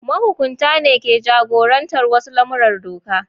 Mahukunta ne ke jagorantar wasu lamuran doka.